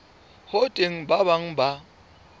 ho teng ba bang ba